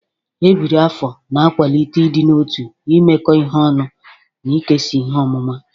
Ebiri afo na-akwalite ịdị n'otu, imekọ ihe ọnụ, na ikesa ihe ọmụma.